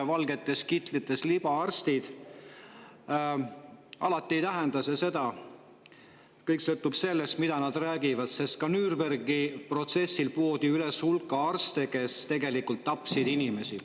Valgetes kitlites libaarstid – alati ei tähenda see seda, kõik sõltub sellest, mida nad räägivad, sest ka Nürnbergi protsessil poodi üles hulk arste, kes tegelikult tapsid inimesi.